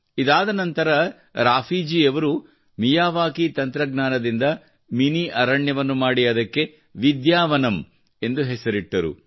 ಇದಾದ ನಂತರ ರಾಫೀಜಿಯವರು ಮಿಯಾವಾಕಿಯ ತಂತ್ರಜ್ಞಾನದಿಂದ ಮಿನಿ ಅರಣ್ಯವನ್ನು ಮಾಡಿ ಅದಕ್ಕೆ ವಿದ್ಯಾವನಂ ಎಂದು ಹೆಸರಿಟ್ಟರು